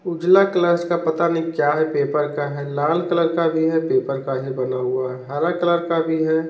उजला कलर्स का पता नहीं क्या है पेपर का है लाल कलर का भी है पेपर का ही बना हुआ है हरा कलर का भी है।